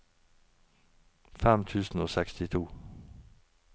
fem tusen og sekstito